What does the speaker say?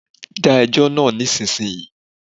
Dá ẹjọ náà nísinsìnyí!